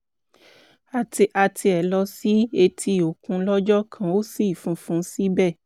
a tiẹ̀ lọ sí etí-òkun lọ́jọ́ kan ó ṣì funfun síbẹ̀